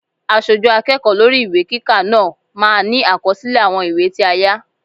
Aṣojú akẹ́kọ̀ọ́ lórí ìwé kíkà náà máa ní àkọsílẹ̀ àwọn ìwé tí a yá.